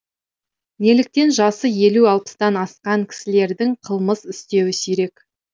неліктен жасы елу алпыстан асқан кісілердің қылмыс істеуі сирек